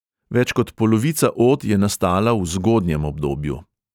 Več kot polovica od je nastala v zgodnjem obdobju.